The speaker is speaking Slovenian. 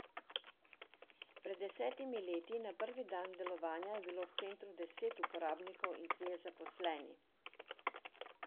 Pred desetimi leti, na prvi dan delovanja je bilo v centru deset uporabnikov in trije zaposleni.